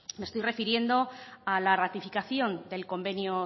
me estoy refiriendo a la ratificación del convenio